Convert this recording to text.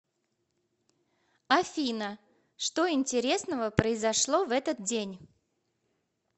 афина что интересного произошло в этот день